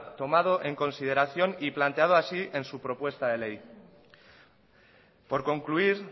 tomado en consideración y planteado así en su propuesta de ley por concluir